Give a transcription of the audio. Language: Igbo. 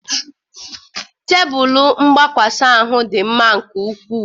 Tebụl mgbakwasa ahụ dị mma nke ukwuu